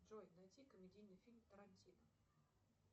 джой найти комедийный фильм тарантино